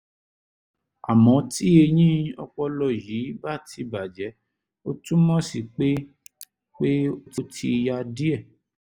àmọ́ tí eyín ọpọlọ yìí bá ti bàjẹ́ ó túmọ̀ sí pé pé ó ti ya díẹ̀